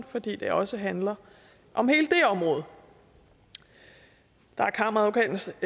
fordi det også handler om hele det område der er kammeradvokatens